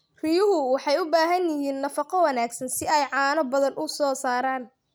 Riyuhu waxay u baahan yihiin nafaqo wanaagsan si ay caano badan u soo saaraan.